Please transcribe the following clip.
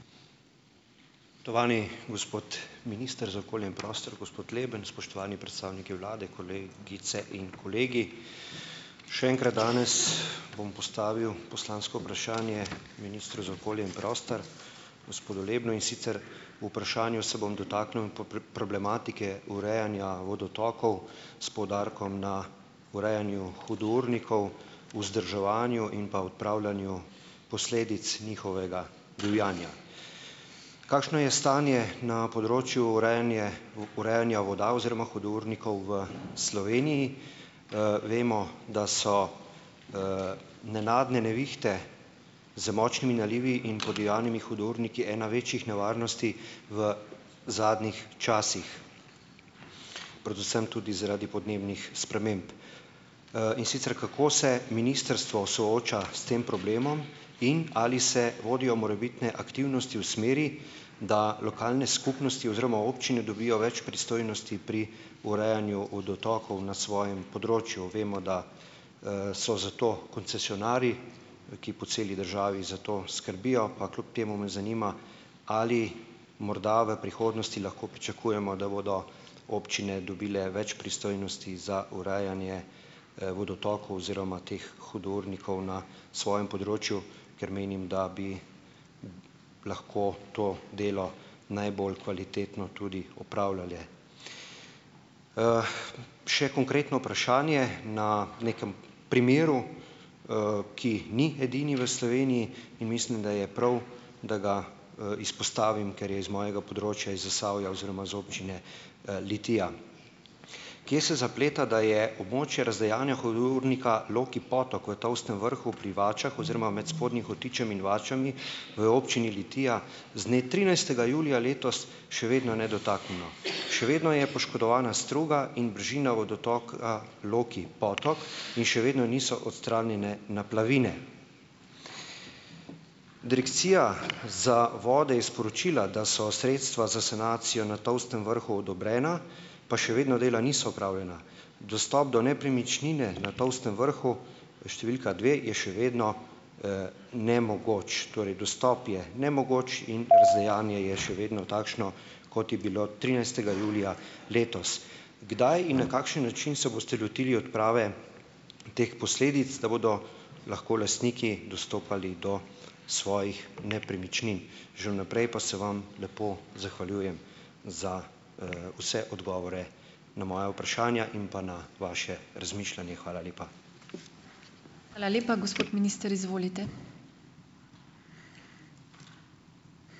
Spoštovani gospod minister za okolje in prostor gospod Leben, spoštovani predstavniki vlade, kolegice in kolegi. Še enkrat danes bom postavil poslansko vprašanje ministru za okolje in prostor gospodu Lebnu, in sicer v vprašanju se bom dotaknil problematike urejanja vodotokov s poudarkom na urejanju hudournikov, vzdrževanju in pa odpravljanju posledic njihovega divjanja. Kakšno je stanje na področju urejanje urejanja voda oziroma hudournikov v Sloveniji? vemo, da so, nenadne nevihte z močnimi nalivi in podivjanimi hudourniki ena večjih nevarnosti v zadnjih časih. Predvsem tudi zaradi podnebnih sprememb. in sicer kako se ministrstvo sooča s tem problemom in ali se vodijo morebitne aktivnosti v smeri, da lokalne skupnosti oziroma občine dobijo več pristojnosti pri urejanju vodotokov na svojem področju? Vemo, da, so zato koncesionarji, ki po celi državi za to skrbijo, pa kljub temu me zanima, ali morda v prihodnosti lahko pričakujemo, da bodo občine dobile več pristojnosti za urejanje, vodotokov oziroma teh hudournikov na svojem področju, ker menim, da bi lahko to delo najbolj kvalitetno tudi upravljale. še konkretno vprašanje na nekem primeru, ki ni edini v Sloveniji in mislim, da je prav, da ga, izpostavim, ker je iz mojega področja iz Zasavja oziroma iz občine, Litija. Kje se zapleta, da je območje razdejanja hudournika Loki potok v Tolstem vrhu pri Vačah oziroma med Spodnjim Hotičem in Vačami v občini Litija z dne trinajstega julija letos še vedno nedotaknjeno, še vedno je poškodovana struga in bližina vodotoka Loki potok in še vedno niso odstranjene naplavine. Direkcija za vode je sporočila, da so sredstva za sanacijo na Tolstem vrhu odobrena, pa še vedno dela niso opravljena. Dostop do nepremičnine na Tolstem vrhu številka dve je še vedno, nemogoč, torej dostop je nemogoč in razdejanje je še vedno takšno, kot je bilo trinajstega julija letos. Kdaj in na kakšen način se boste lotili odprave teh posledic, da bodo lahko lastniki dostopali do svojih nepremičnin? Že v naprej pa se vam lepo zahvaljujem za, vse odgovore na moja vprašanja in pa na vaše razmišljanje. Hvala lepa.